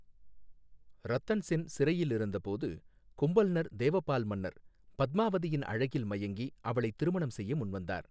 ரத்தன் சென் சிறையில் இருந்தபோது, கும்பல்னர் தேவபால் மன்னர் பத்மாவதியின் அழகில் மயங்கி, அவளை திருமணம் செய்ய முன்வந்தார்.